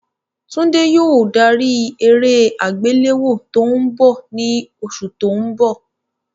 Tunde yóò darí eré àgbéléwò tó ń bọ̀ ní oṣù tó ń bọ̀.